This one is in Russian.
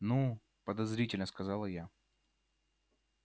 ну подозрительно сказала я